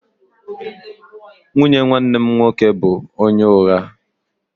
Nwunye nwanne m nwoke bụ onye ụgha